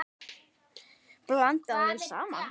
Blandað vel saman.